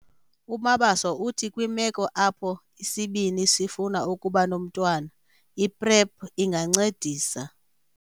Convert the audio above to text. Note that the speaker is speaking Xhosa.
UMabaso uthi kwimeko apho isibini sifuna ukuba nomntwana, i-PrEP ingancedisa